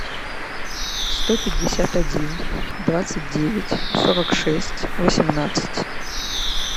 сто пятьдесят один двадцать девять сорок шесть восемнадцать